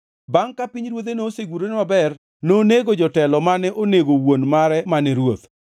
Bangʼ ka pinyruodhe nosegurore maber, nonego jotelo mane onego wuon mare mane ruoth.